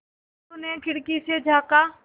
टुल्लु ने खिड़की से झाँका